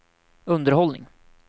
underhållning